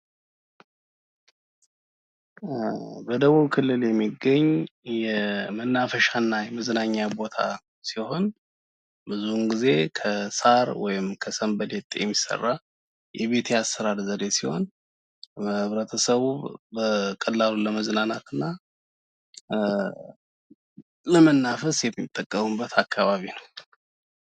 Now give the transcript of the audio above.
በደቡብ ክልል የሚገኝ የመናፈሻና መዝናኛ ቦታ ሲሆን ብዙ ጊዜ ከሣር ወይም ከሰንበሌጥ የሚሰራ የቤት አሰራር ዘዴ ሲሆን ህብረተሰቡ በቀላሉ ለመዝናናት እና ለመናፈስ የሚጠቀምበት አካባቢ ነው።